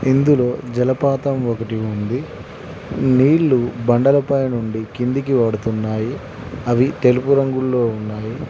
ఇందులో జలపాతం ఒకటి ఉంది నీళ్లు బండల పై నుండి కిందికి పడుతున్నాయి అవి తెలుపు రంగులో ఉన్నాయి.